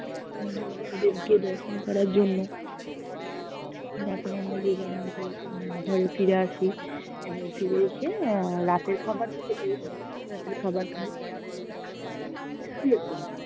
জ্গন্নাথ দেব্কে দর্শন করার জন্য তারপরে আমরা যে-যার মতো ঘরে ফিরে আসি এবং ফিরে এসে আহ রাতের খাবার তো খেতেই হবে, রাতের খাবার খাই, শুয়ে পরি